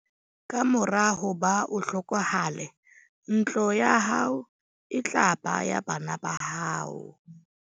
Ka mora hoba o hlokahale ntlo ya hao e tla ba ya bana ba hao.